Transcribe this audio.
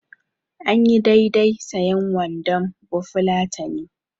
Anyi daidai sayen wandon bafulatani.